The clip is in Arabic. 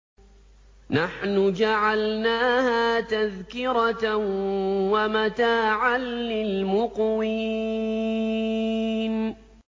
نَحْنُ جَعَلْنَاهَا تَذْكِرَةً وَمَتَاعًا لِّلْمُقْوِينَ